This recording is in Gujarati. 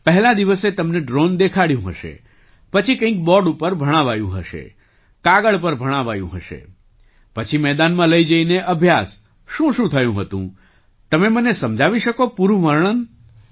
પહેલા દિવસે તમને ડ્રૉન દેખાડ્યું હશે પછી કંઈક બૉર્ડ પર ભણાવાયું હશે કાગળ પર ભણાવાયું હશે પછી મેદાનમાં લઈ જઈને અભ્યાસ શુંશું થયું હતું તમે મને સમજાવી શકો પૂરું વર્ણન